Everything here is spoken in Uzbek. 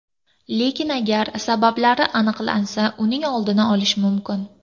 Lekin agar sabablari aniqlansa, uning oldini olish mumkin.